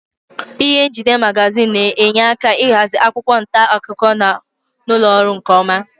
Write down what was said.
Ịhe njide magazin na-enye aka ịhazi akwụkwọ nta akụkọ nọ n'ụlọ ọrụ nkeọma.